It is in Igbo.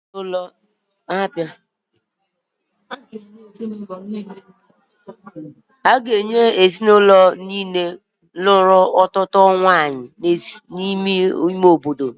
A ga-enye ezinụlọ niile nwere otu nwanyị n'ime ime obodo n'akụkụ ugwu nke obodo n'afọ ọzọ